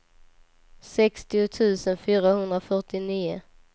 sextio tusen fyrahundrafyrtionio